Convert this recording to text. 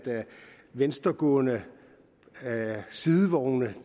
venstregående sidevogne